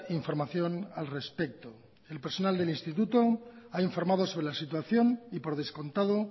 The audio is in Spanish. información al respecto el personal del instituto ha informado sobre la situación y por descontado